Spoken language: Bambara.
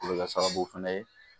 O bɛ kɛ sababu fɛnɛ ye